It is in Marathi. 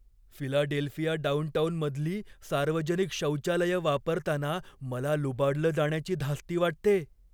फिलाडेल्फिया डाउनटाउनमधली सार्वजनिक शौचालयं वापरताना मला लुबाडलं जाण्याची धास्ती वाटते.